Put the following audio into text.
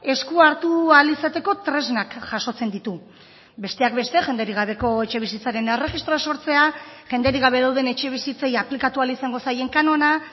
eskuhartu ahal izateko tresnak jasotzen ditu besteak beste jenderik gabeko etxebizitzaren erregistroa sortzea jenderik gabe dauden etxebizitzei aplikatu ahal izango zaien kanona